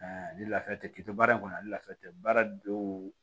ni lafiya tɛ k'i to baara in kɔnɔ ani lafiya tɛ baara dɔw